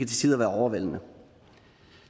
tider være overvældende